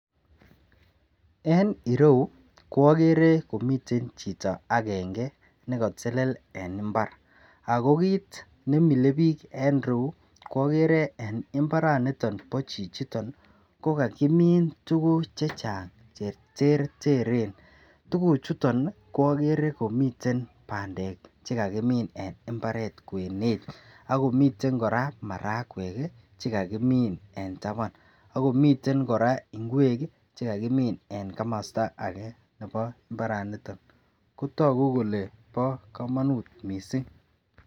En ireyu agere komiten Chito agenge nekatelel en imbar ako kit nemile bik en iroyu kwagere en mbaraniton ba chichiton kokakimin tuguk chechang mising cheterterchin ako tuguk chuton kwaegere komiten bandek chekakimin en imbaret kwenet akomiten koraa marakwek chekakimin en taban akomiten koraa ingwek chekakimin en kamasta age Nebo mbaraniton kotagu Kole ba kamanut mising